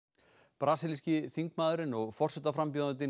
brasilíski þingmaðurinn og forsetaframbjóðandinn